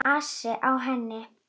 Enginn asi á henni.